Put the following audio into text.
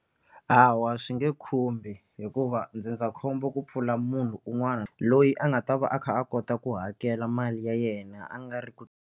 Hawa swi nge khumbi hikuva ndzindzakhombo ku pfula munhu un'wana loyi a nga ta va a kha a kota ku hakela mali ya yena a nga ri ku.